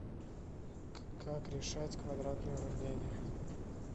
как решать квадратные уравнения